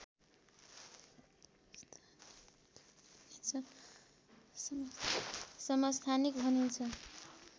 समस्थानिक भनिन्छ